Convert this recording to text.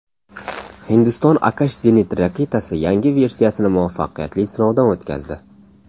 Hindiston Akash zenit raketasi yangi versiyasini muvaffaqiyatli sinovdan o‘tkazdi.